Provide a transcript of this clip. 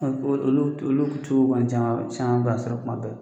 Olu caman caman b'a sɔrɔ kuma bɛɛ.